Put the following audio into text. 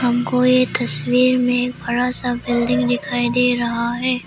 कोई तस्वीर में बड़ा सा बिल्डिंग दिखाई दे रहा है।